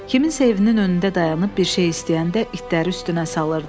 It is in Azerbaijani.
Kiminsə evinin önündə dayanıb bir şey istəyəndə itləri üstünə salırdılar.